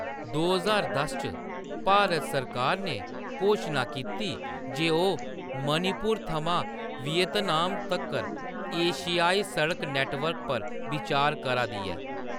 दो ज्हार दस च, भारत सरकार ने घोशना कीती जे ओह्‌‌ मणिपुर थमां वियतनाम तक्कर एशियाई सड़क नेटवर्क पर बिचार करा दी ऐ।